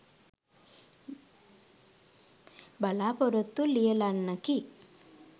බලාපොරොත්තු ලියලන්නකි.